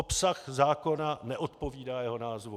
Obsah zákona neodpovídá jeho názvu.